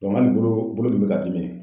hali bolo bolo min bɛ k'a dimi.